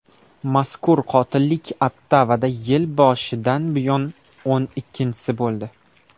Mazkur qotillik Ottavada yil boshidan buyon o‘n ikkinchisi bo‘ldi.